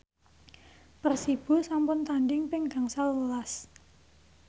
Persibo sampun tandhing ping gangsal welas